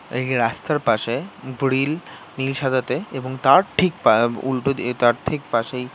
এই রাস্তার পাশেব্রিল নীল সাদাতে এবং তার ঠিক অ্য উল্টো অ্য তার ঠিক পাশে।